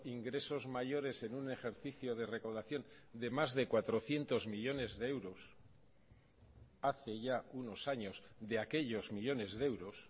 ingresos mayores en un ejercicio de recaudación de más de cuatrocientos millónes de euros hace ya unos años de aquellos millónes de euros